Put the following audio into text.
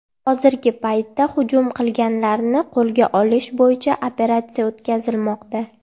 Hozirgi paytda hujum qilganlarni qo‘lga olish bo‘yicha operatsiya o‘tkazilmoqda.